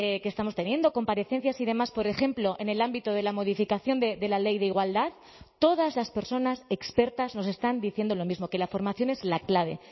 que estamos teniendo comparecencias y demás por ejemplo en el ámbito de la modificación de la ley de igualdad todas las personas expertas nos están diciendo lo mismo que la formación es la clave